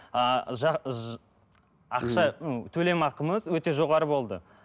ыыы ақша ну төлем ақымыз өте жоғары болды